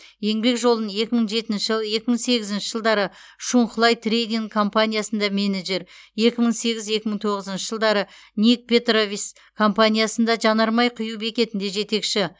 еңбек жолын екі мың жетінші жыл екі мың сегізінші жылдары шунхлай трейдинг компаниясында менеджер екі мың сегіз екі мың тоғызыншы жылдары ник петровис компаниясында жанармай құю бекетінде жетекші